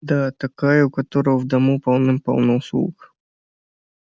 да такая у которой в дому полным-полно слуг